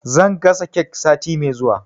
Zan gasa kek sati mai zuwa.